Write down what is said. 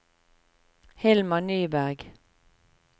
Hilmar Nyberg